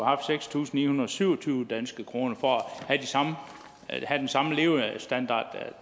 haft seks tusind ni hundrede og syv og tyve danske kroner for at have den samme levestandard